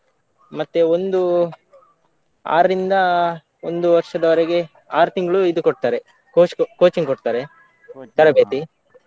ಮತ್ತೆ ಒಂದು ಆರ್ರಿಂದ ಒಂದು ವರ್ಷದವರೆಗೆ ಆರು ತಿಂಗಳು ಇದು ಕೊಡ್ತಾರೆ coch~ coaching ಕೊಡ್ತಾರೆ, ತರಬೇತಿ.